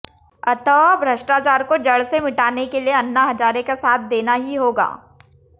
अतः भ्रष्टाचार को जड़ से मिटाने के लिए अन्ना हजारे का साथ देना ही होगा